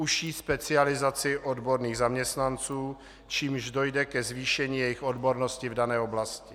Užší specializaci odborných zaměstnanců, čímž dojde ke zvýšení jejich odbornosti v dané oblasti.